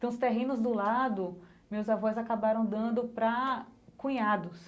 Então os terrenos do lado, meus avós acabaram dando pra cunhados.